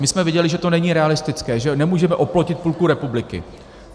My jsme viděli, že to není realistické, že nemůžeme oplotit půlku republiky.